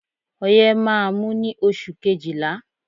Ọyẹ́ má á mú ní oṣù kejìlá.